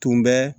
Tun bɛ